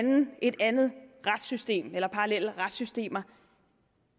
et andet retssystem af parallelle retssystemer